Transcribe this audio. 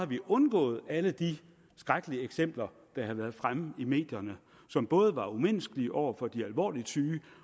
vi undgået alle de skrækkelige eksempler der har været fremme i medierne som både er umenneskelige over for de alvorligt syge